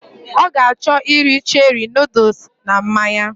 Ọ ga achọ iri cherie nọdles na mmanya